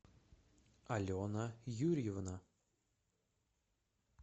алена юрьевна